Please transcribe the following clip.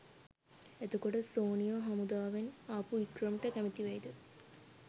එතකොට සෝනිියෝ හමුදාවෙන් ආපු වික්‍රම්ට කැමති වෙයිද?